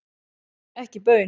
Ekki baun.